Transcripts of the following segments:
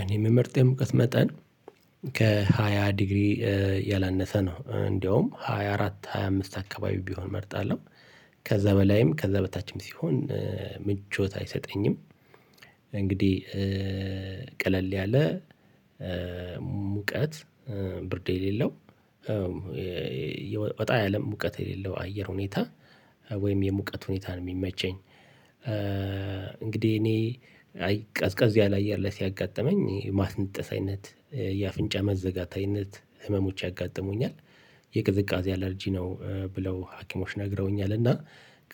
እኔ የምመርጥ የምቀት መጠን ከሃያ ዲግሪ ያላነሰ ነው እንደውም ሃያ አራት ሃያ አምስት አካባቢ ቢሆን እመርጣለው። ከዛ በላይም ከዛ በታችም ሲሆን ምቾት አይሰጠኝም። እንግዲህ ቀለል ያለ ሙቀት ብርድ የሌለው የወጣ የአለም ሙቀት የሌለው አየር ሁኔታ ወይም የሙቀት ሁኔታ ነው የሚመቸኝ እንግዲህ እኔ ቀዝቃዝ ያለ አየር ላይ ሲያጋጥመኝ ማስነጠስ አይነት የአፍንጫ መዘጋት አይነት ህመሞች ያጋጥሙኛል። የቅዝቃዜ አለርጂ ነው ብለው ሀኪሞች ነግረውኛል እና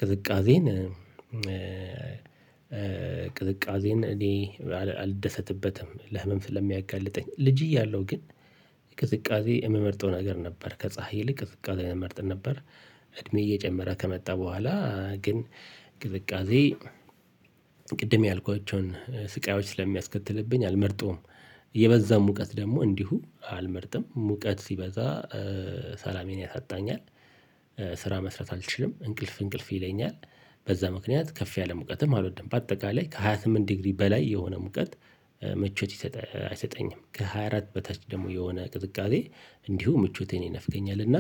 ቅዝቃዜን ቅዝቃዜን እኔ አልደሰትበትም ለህመም ለሚያጋልጠኝ ልጅ እያለሁ ግን ቅዝቃዜ የምመርጠው ነገር ነበር ከፀሀይ ይልቅ ቅዝቃዜ እመርጥን ነበር እድሜ እየጨመረ ከመጣ ቦኋላ ቅዝቃዜ ቅድም ያልኳቸውን ስቃዮች ስለሚያስከትልብኝ አልመርጡም የበዛው ሙቀት ደግሞ እንዲሁ አልመርጥም ሙቀት ሲበዛ ሰላሜን ያሳጣኛል። ስራ መስራት አልችልም እንቅልፍ እንቅልፍ ይለኛል በዛ ምክንያት ከፍ ያለ ሙቀትም አልወድም በአጠቃላይ ከሃያ ስምንት ዲግሪ በላይ የሆነ ሙቀት ምቾት አይሰጠኝም ከሃያ አራት በታች ደግሞ የሆነ ቅዝቃዜ እንዲሁ ምቾቴን ይነፍገኛል እና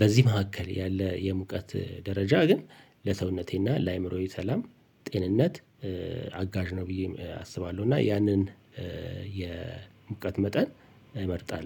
በዚህ መካከል ያለ የሙቀት ደረጃ ግን ለሰውነቴና ለአእምሮዬ ሰላም ጤንነት አጋዥ ነው ብዬ አስባለሁ እና ያንን የሙቀት መጠን እመርጣለው።